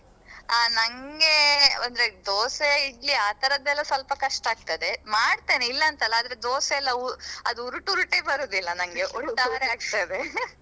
ಅಹ್ ನಂಗೆ ಅಂದ್ರೆ ದೋಸೆ ಇಡ್ಲಿ ಆತರೆದೆಲ್ಲಾ ಸ್ವಲ್ಪ ಕಷ್ಟ ಆಗ್ತದೆ ಮಾಡತೇನೆ ಇಲ್ಲಂತಲ್ಲಾ ಆದ್ರೆ ದೋಸೆಲ್ಲಾ ಅದು ಉರುಟ್ ಉರುಟ್ ಬರುದಿಲ್ಲಾ ನಂಗೆ ಉರುಟು ಒಟ್ಟಾರೆಯಾಗ್ತದೆ .